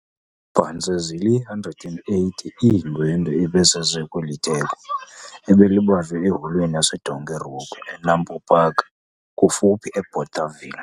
Phantse zili-180 iindwendwe ebezize kweli theko, ebelibanjwe eHolweni yaseDonkerhoek eNAMPO Park, kufuphi eBothaville.